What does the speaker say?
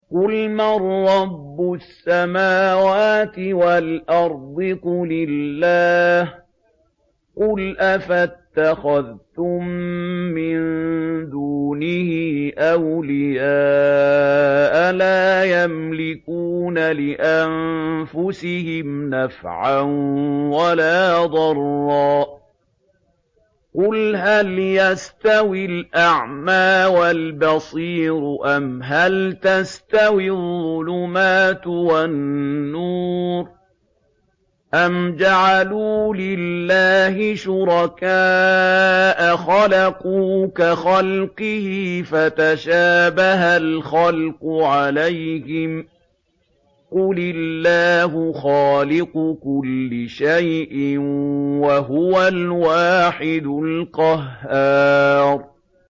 قُلْ مَن رَّبُّ السَّمَاوَاتِ وَالْأَرْضِ قُلِ اللَّهُ ۚ قُلْ أَفَاتَّخَذْتُم مِّن دُونِهِ أَوْلِيَاءَ لَا يَمْلِكُونَ لِأَنفُسِهِمْ نَفْعًا وَلَا ضَرًّا ۚ قُلْ هَلْ يَسْتَوِي الْأَعْمَىٰ وَالْبَصِيرُ أَمْ هَلْ تَسْتَوِي الظُّلُمَاتُ وَالنُّورُ ۗ أَمْ جَعَلُوا لِلَّهِ شُرَكَاءَ خَلَقُوا كَخَلْقِهِ فَتَشَابَهَ الْخَلْقُ عَلَيْهِمْ ۚ قُلِ اللَّهُ خَالِقُ كُلِّ شَيْءٍ وَهُوَ الْوَاحِدُ الْقَهَّارُ